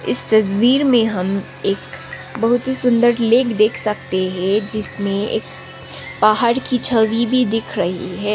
इस तस्वीर में हम एक बहुत ही सुंदर लेक देख सकते हैं जिसमें एक पहाड़ की छवि भी दिख रही है।